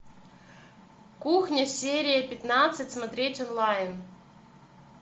кухня серия пятнадцать смотреть онлайн